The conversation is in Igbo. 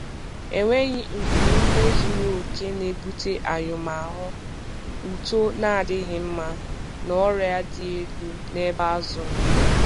Enweghi nku ume zuru oke na-ebute anyụm ahụ, uto na-adịghị mma, na ọrịa dị elu n’ebe azụ nọ.